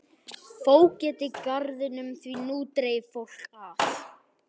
Fógeta garðinum því nú dreif fólk að.